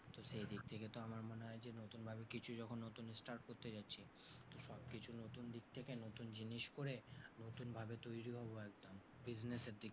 তো সেই দিক থেকে তো আমার মনে হয় যে নতুন ভাবে কিছু যখন নতুন start করতে যাচ্ছি তো সব কিছু নতুন দিক থেকে নতুন জিনিস করে নতুন ভাবে তৈরি হব একদম business এর দিক তো,